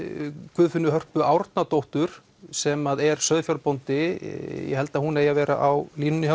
Guðfinnu Hörpu Árnadóttur sem er sauðfjárbóndi ég held að hún eigi að vera á línunni